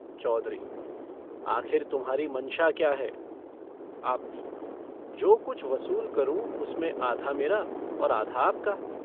चौधरी - आखिर तुम्हारी मशा क्या है? आबदी - जो कुछ वसूल करूँ उसमें आधा मेरा और आधा आपका।